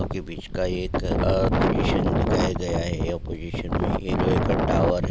ये बीच का एक अ पोजीशन दिखाया गया है अपोजीशन मे यह लोहे का टावर है।